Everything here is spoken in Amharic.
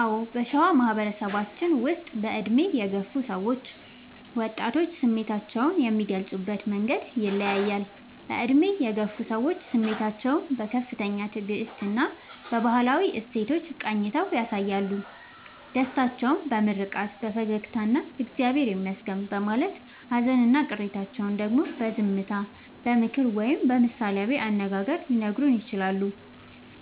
አዎ: በሸዋ ማህበረሰባችን ውስጥ በዕድሜ የገፉ ሰዎችና ወጣቶች ስሜታቸውን የሚገልጹበት መንገድ ይለያያል፦ በዕድሜ የገፉ ሰዎች፦ ስሜታቸውን በከፍተኛ ትዕግስትና በባህላዊ እሴቶች ቃኝተው ያሳያሉ። ደስታቸውን በምርቃት፣ በፈገግታና «እግዚአብሔር ይመስገን» በማለት: ሃዘንና ቅሬታቸውን ደግሞ በዝምታ: በምክር ወይም በምሳሌ አነጋገር ሊነግሩን ይችላሉ።